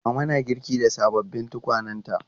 Mama na girki da sababbin tukwanenta.